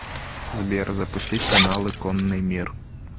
сбер запустить каналы конный мир